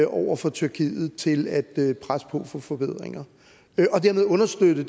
over for tyrkiet til at presse på for forbedringer og dermed understøtte